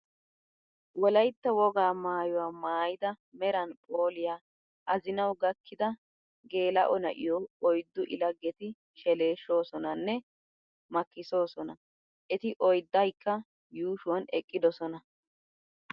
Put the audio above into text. Wolaytta wogaa maayuwa maayida meran phooliya azinawu gakkida geela'o na'iyo oyddu I laggeti sheleeshshoosona nne makkisoosona. Eti oyddakka yuushuwan eqqidosona.